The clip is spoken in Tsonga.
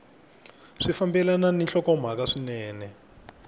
swi fambelana ni nhlokomhaka swinene